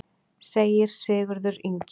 Segir Sigurður Ingi.